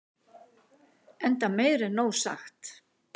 enda meir en nóg sagt